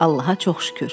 Allaha çox şükür.